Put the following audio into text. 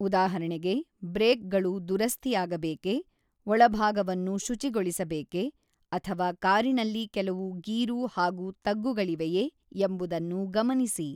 ಉದಾಹರಣೆಗೆ, ಬ್ರೇಕ್‌ಗಳು ದುರಸ್ತಿಯಾಗಬೇಕೇ, ಒಳಭಾಗವನ್ನು ಶುಚಿಗೊಳಿಸಬೇಕೇ, ಅಥವಾ ಕಾರಿನಲ್ಲಿ ಕೆಲವು ಗೀರು ಹಾಗೂ ತಗ್ಗುಗಳಿವೆಯೇ ಎಂಬುದನ್ನು ಗಮನಿಸಿ.